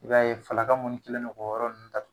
I b'a ye falaka munnu kɛlendo k'o yɔrɔ ninnu datug